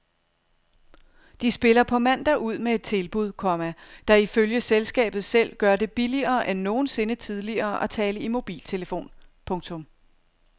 De spiller på mandag ud med et tilbud, komma der ifølge selskabet selv gør det billigere end nogensinde tidligere at tale i mobiltelefon. punktum